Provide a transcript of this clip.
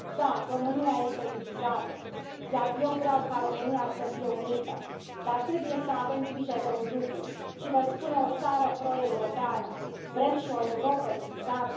Da, România este divizată, iar eu vreau ca România să fie unită, dar trebuie să avem grijă de un lucru și vă spune o țară pro europeană vrem și o Europă divizată?